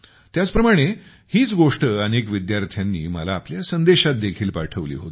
त्याच प्रमाणे हीच गोष्ट अनेक विद्यार्थ्यांनी मला आपल्या संदेशात देखील पाठवली होती